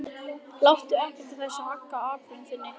Láttu ekkert af þessu hagga ákvörðun þinni.